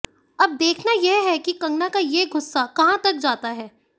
अब देखना है कि कंगना का ये गुस्सा कहां तक जाता है